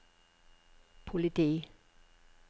politi